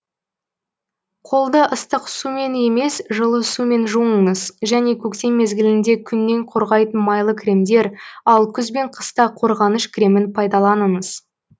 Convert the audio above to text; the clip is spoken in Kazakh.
қолды ыстық сумен емес жылы сумен жуыңыз және көктем мезгілінде күннен қорғайтын майлы кремдер ал күз бен қыста қорғаныш кремін пайдаланыңыз